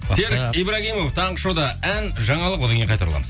серік ибрагимов таңғы шоуда ән жаңалық одан кейін қайта ораламыз